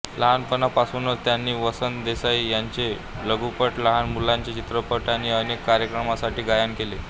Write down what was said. लहानपणापासूनच त्यांनी वसंत देसाई यांचे लघुपट लहान मुलांचे चित्रपट आणि अनेक कार्यक्रमांसाठी गायन केले